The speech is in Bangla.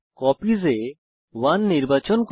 কপিস এ আমরা 1 নির্বাচন করি